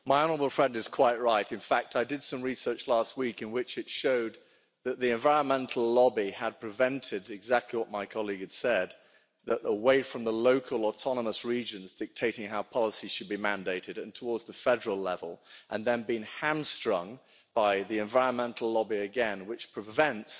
My honourable friend is quite right. In fact, I did some research last week which showed that the environmental lobby had prevented exactly what my colleague said away from the local autonomous regions dictating how policy should be mandated and towards the federal level, and then being hamstrung by the environmental lobby again, which prevents